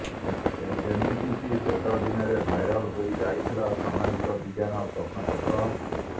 ଏମିତିକି ଶେଷ ଦିନରେ ଭାଇରାଲ୍ ହୋଇ ଯାଇଥିଲା ସାମାଜିକ ବିଜ୍ଞାନ ପ୍ରଶ୍ନପତ୍ର